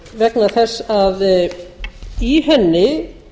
vegna þess að í henni